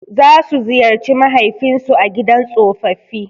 Za su ziyarci mahaifin su a gidan tsofaffi.